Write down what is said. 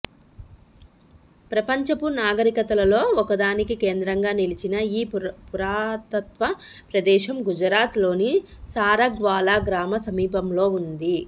ప్రపంచపు నాగరికతలలో ఒకదానికి కేంద్రంగా నిలిచిన ఈ పురాతత్వ ప్రదేశం గుజరాత్ లోని సారగ్ వాలా గ్రామ సమీపంలో వుంది